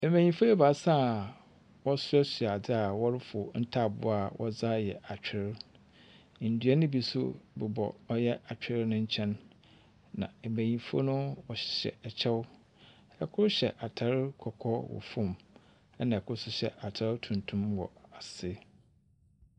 Mbenyimfo ebaasa wɔhyehyɛ a adɔe a wɔayɛ wɔrefow ntaaboo a wɔdze ayɛ atwer. Nnua bi nso bobɔ ater no nkyen. Na mbenyimfo no hyɛ kyɛw. Ikor hyɛ atar kɔkɔɔ wɔ sor na kor nso hyɛ atar tuntum wɔ ase.